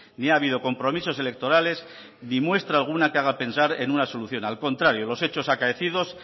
ni ha habido compromisos electorales ni muestra alguna que haga pensar en una solución al contrario los hechos acaecidos